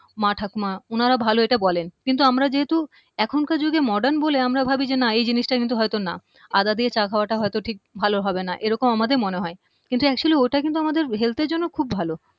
মা ঠাকুমা উনারা ভালো এটা বলেন কিন্তু আমরা যেহেতু এখনকার যুগে modern বলে আমরা ভাবি যে না এই জিনিসটা কিন্তু হয়তো না আদা দিয়ে চা খাওয়াটা হয়তো ঠিক ভালো হবে না এরকম আমাদের মনে হয় কিন্তু actually ওটা কিন্তু আমাদের health এর জন্য খুব ভালো